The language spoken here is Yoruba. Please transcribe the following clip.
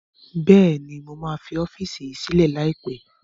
Bẹ́ẹ̀ni mo máa fi ọ́fíìsì yìí sílẹ̀ lai pẹ̀